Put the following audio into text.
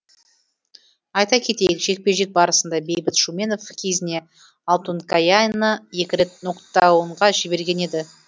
айта кетейік жекпе жек барысында бейбіт шуменов хизни алтункаяны екі рет нокдаунға жіберген еді